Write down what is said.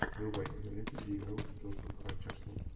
врубай киноленту где играл джош хатчерсон